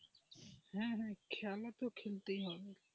হ্যাঁ হ্যাঁ খেলা তো খেলতেই হবে.